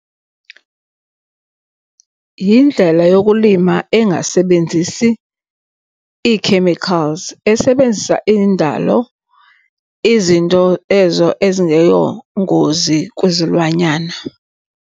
Yindlela yokulima engasebenzisi ii-chemicals, esebenzisa indalo. Izinto ezo ezingeyongozi kwizilwanyana.